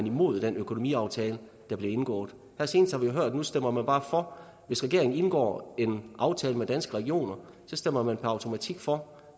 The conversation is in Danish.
imod den økonomiaftale der bliver indgået her senest har vi jo hørt at nu stemmer man bare for hvis regeringen indgår en aftale med danske regioner stemmer man per automatik for